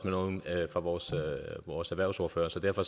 nogle af vores vores erhvervsordførere så derfor